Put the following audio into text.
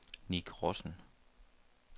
Nick Rossen